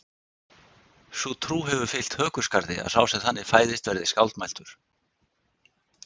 sú trú hefur fylgt hökuskarði að sá sem þannig fæðist verði skáldmæltur